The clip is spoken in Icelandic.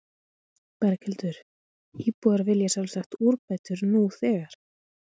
Berghildur, íbúar vilja sjálfsagt úrbætur nú þegar?